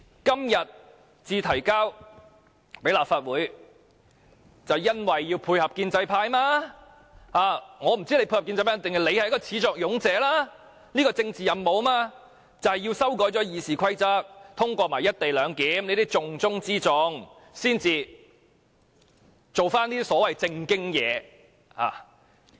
今天才提交立法會，原因是要配合建制派，我也不知道政府是要配合建制派，抑或是始作俑者，這項政治任務便是要修改《議事規則》，再通過"一地兩檢"，這些是重中之重，然後才做一些所謂"正經"事情......